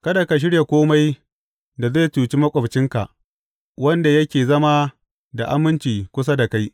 Kada ka shirya kome da zai cuci maƙwabcinka, wanda yake zama da aminci kusa da kai.